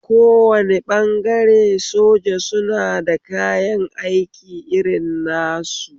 Kowane ɓangare soja suna da kayan aiki irin nasu